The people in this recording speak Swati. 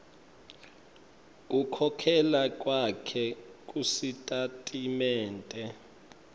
kukhokhela kwakho kusitatimende